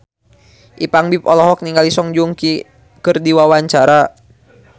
Ipank BIP olohok ningali Song Joong Ki keur diwawancara